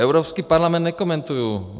Evropský parlament nekomentuji.